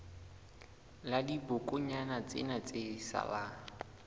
la dibokonyana tsena tse salang